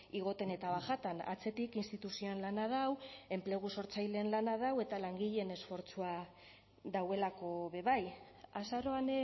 igoten eta bajatan atzetik instituzioen lana dau enplegu sortzaileen lana dau eta langileen esfortzua dagoelako be bai azaroan